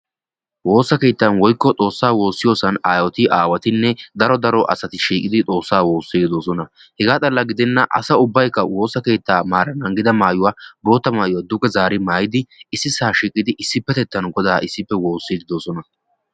Woosa keettan woykko xoossa woosiyo keettan aayetti aawatti issippe shiiqiddi xoosa woossiddi de'osonna